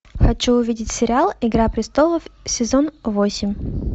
хочу увидеть сериал игра престолов сезон восемь